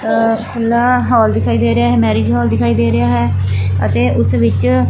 ਆ ਖੁੱਲਾ ਹੋਲ ਦਿਖਾਈ ਦੇ ਰਿਹਾ ਹੈ ਮੈਰਿਜ ਹੋਲ ਦਿਖਾਈ ਦੇ ਰਿਹਾ ਹੈ ਅਤੇ ਉਸ ਵਿੱਚ--